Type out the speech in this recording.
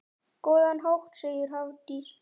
Á góðan hátt, segir Hafdís.